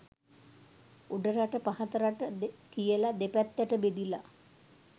උඩරට පහත රට කියලාදෙපැත්තට බෙදිලා